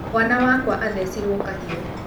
Mwana wakwa athecirwo kahiũ